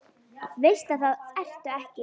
Veist að það ertu ekki.